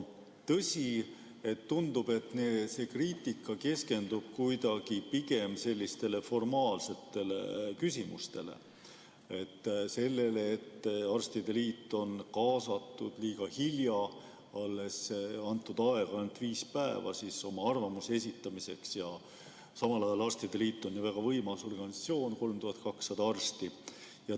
Tõsi, tundub, et see kriitika keskendub pigem formaalsetele küsimustele, sellele, et arstide liit kaasati liiga hilja, arvamuse esitamiseks antud aeg oli viis päeva, samal ajal on arstide liit väga võimas organisatsioon, 3200 arsti.